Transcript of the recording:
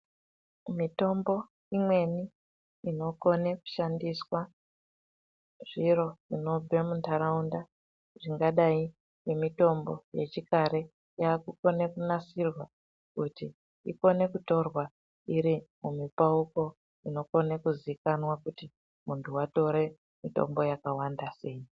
Mitombo imweni inokone kushandiswa zviro zvinobve muntaraunda zvingadai nemitombo yechikare yakukone kunasirwa kuti ikone kutorwa iri mumipauko inokone kuzikana kuti muntu watore mitombi yakawanda sei.